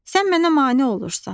Sən mənə mane olursan.